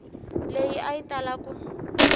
leyi a yi tala ku